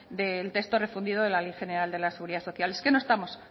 del texto refundido de la ley general de la seguridad social pero no estamos